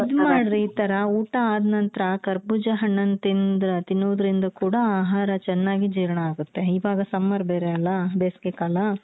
ಇದ್ ಮಾಡ್ರಿ ಈ ತರ ಊಟ ಆದ್ನಂತ್ರ ಕರ್ಬೂಜ ಹಣ್ಣನ್ನ ತಿಂದು ತಿನ್ನೋದ್ರಿಂದ ಕೂಡ ಆಹಾರ ಚೆನ್ನಾಗಿ ಜೀರ್ಣ ಆಗತ್ತೆ ಈವಾಗ summer ಬೇರೆ ಅಲ ಬೇಸ್ಗೆ ಕಾಲ.